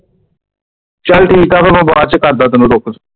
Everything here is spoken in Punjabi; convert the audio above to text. ਚਲ ਠੀਕ ਆ ਫੇਰ ਮੈਂ ਬਾਅਦ ਚ ਕਰਦਾ ਤੈਨੂੰ ਰੁੱਕ ਕਰ।